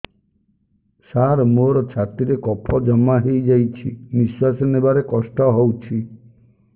ସାର ମୋର ଛାତି ରେ କଫ ଜମା ହେଇଯାଇଛି ନିଶ୍ୱାସ ନେବାରେ କଷ୍ଟ ହଉଛି